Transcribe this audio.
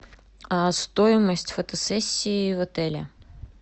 стоимость фотосессии в отеле